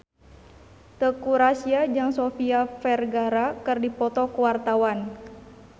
Teuku Rassya jeung Sofia Vergara keur dipoto ku wartawan